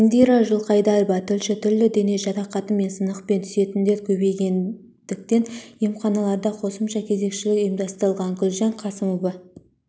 индира жылқайдарова тілші түрлі дене жарақаты мен сынықпен түсетіндер көбейгендіктен емханаларда қосымша кезекшілік ұйымдастырылған гүлжан қасымова